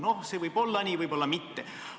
No see võib nii olla, võib ka mitte olla.